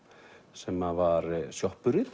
sem að var